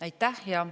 Aitäh!